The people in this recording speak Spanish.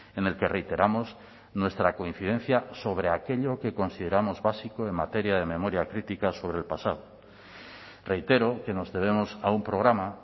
en el que reiteramos nuestra coincidencia sobre aquello que consideramos básico en materia de memoria crítica sobre el pasado reitero que nos debemos a un programa